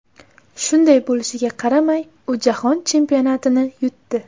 Shunday bo‘lishiga qaramay, u Jahon Chempionatini yutdi.